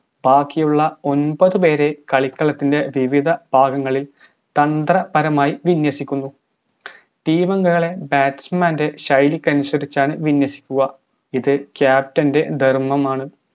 ബാക്കിയുള്ള ഒമ്പത് പേരെ കളിക്കളത്തിൻറെ വിവിധ ഭാഗങ്ങളിൽ തന്ത്ര പരമായി വിന്യസിക്കുന്നു team ളെ batsman ൻറെ ശൈലിക്കനുസരിച്ചാണ് വിന്യസിക്കുക ഇത് captain ൻറെ ധർമ്മമാണ്